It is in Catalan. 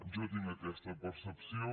jo tinc aquesta percepció